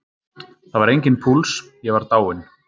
Það var enginn púls, ég var dáinn.